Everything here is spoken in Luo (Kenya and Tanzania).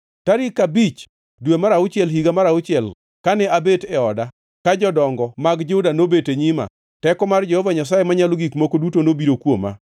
Tarik abich dwe mar auchiel higa mar auchiel, kane abet e oda ka jodongo mag Juda nobet e nyima, teko mar Jehova Nyasaye Manyalo Gik Moko Duto nobiro kuoma.